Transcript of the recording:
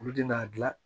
Olu de n'a gilan